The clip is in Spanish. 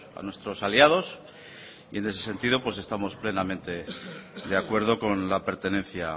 a nuestros aliados y en ese sentido estamos plenamente de acuerdo con la pertenencia